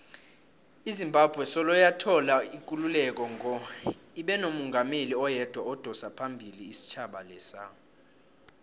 izimbabwe soloyathola ikululeko ngo ibenomungameli oyedwa odosaphambili isitjhaba lesa